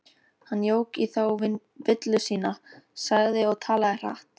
Hann jók í þá villu sína, sagði og talaði hratt